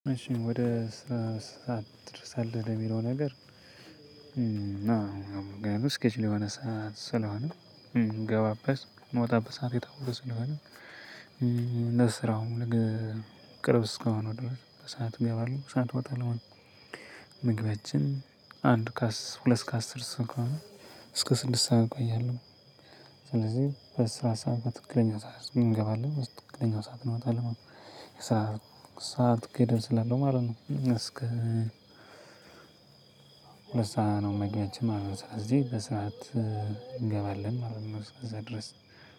እሺ ወደ ስራ ሰዓት ትደርሳለህ ለሚለው ነገር? አዎ ምክንያቱም ስኬጅል የሆነ ሰዓት ስለሆነ ምገባበት ምወጣበት ሰዓት የታወቀ ስለሆነ ለስራውም ቅርብ እስከሆነ ድረስ በሰአቱ እገባለሁ በሰአቱ እወጣለሁ። ምግባችን አንድ ከአስ ሁለት ከአስር እስኪሆን እስከ ስድስት ሰዓት እቆያለሁ። ስለዚህ በስራ ሰዓት በትክክለኛ ሰዓት እንገባለን በትክክለኛ ሰዓት እንወጣለን ማለት ነው። ሰዓት ሰዓት ገደብ ስላለው ማለት ነው እስከ ሁለት ሰዓት ነው መግቢያችን ማለት ነው። ስለዚህ በስራዓት እንገባለን ማለት ነው እስከዚያ ድረስ።